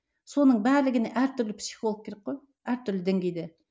соның барлығына әр түрлі психолог керек қой әртүрлі деңгейде